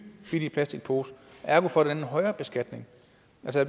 billige plastikpose ergo får den en højere beskatning